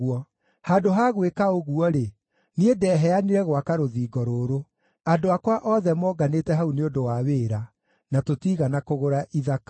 Handũ ha gwĩka ũguo-rĩ, niĩ ndeheanire gwaka rũthingo rũrũ. Andũ akwa othe moonganĩte hau nĩ ũndũ wa wĩra; na tũtiigana kũgũra ithaka.